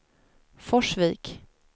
Forsvik